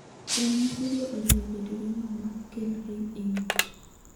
Ranyisigo oriwo bedo gi ng'ol maok kel rem e ng'ut.